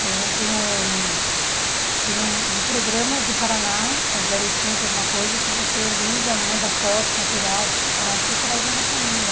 Tem tem um... Tem um um programa do Paraná, é zero oitocentos alguma coisa, que você liga, manda fotos, material, para procurar alguém da família.